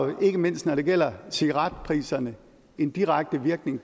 jo ikke mindst når det gælder cigaretpriserne en direkte virkning